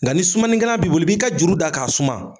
Nka ni sumani kɛlan b'i bolo, i b'i ka juru da k'a suma.